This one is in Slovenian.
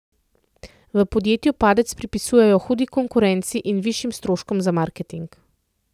V podjetju padec pripisujejo hudi konkurenci in višjim stroškom za marketing.